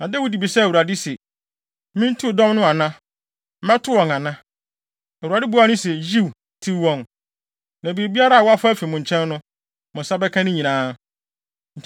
Na Dawid bisaa Awurade se, “Mintiw dɔm no ana? Mɛto wɔn ana?” Awurade buaa no se, “Yiw, tiw wɔn. Na biribiara a wɔafa afi mo nkyɛn no, mo nsa bɛka ne nyinaa.”